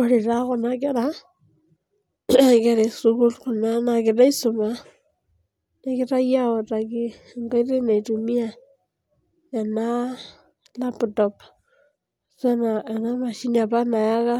Ore taa kuna kera naa nkera esukuul kunaa naisuma. Ewutakitai enkoitoi naaim tena mashini apa nayaka